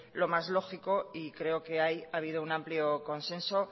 lo más lógico y creo que ahí ha habido un amplio consenso